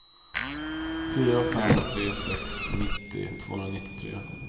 fyra fem tre sex nittio tvåhundranittiotre